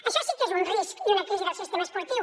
això sí que és un risc i una crisi del sistema esportiu